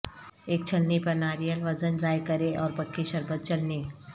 ایک چھلنی پر ناریل وزن ضائع کریں اور پکی شربت چلنی